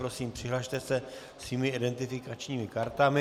Prosím, přihlaste se svými identifikačními kartami.